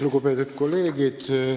Lugupeetud kolleegid!